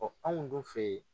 Ɔ anw dun fɛ yen